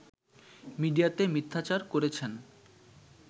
মিডিয়াতে মিথ্যাচার করেছেন